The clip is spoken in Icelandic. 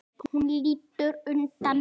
Hún lítur undan.